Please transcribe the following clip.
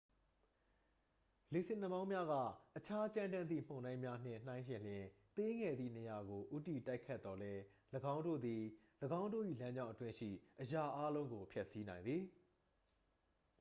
လေဆင်နှာမောင်းများက အခြားကြမ်းတမ်းသည့် မုန်တိုင်းများနှင့် နှိုင်းယှဉ်လျှင် သေးငယ်သည့်နေရာကို ဦးတည်တိုက်ခတ်သော်လည်း ၎င်းတို့သည် ၎င်းတို့၏ လမ်းကြောင်းအတွင်းရှိ အရာအားလုံးကို ဖျက်ဆီးနိုင်သည်